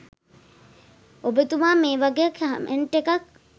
ඔබතුමා මේ වගේ කමෙන්ට් එකක්